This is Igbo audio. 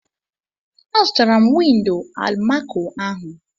Azụtara m windo almaco ahụ.